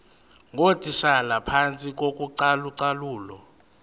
ngootitshala phantsi kocalucalulo